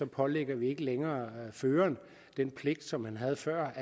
pålægger ikke længere føreren den pligt som han havde før